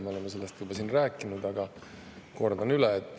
Me oleme sellest juba rääkinud, aga kordan üle.